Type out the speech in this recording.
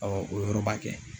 Awɔ o yɔrɔ b'a kɛ.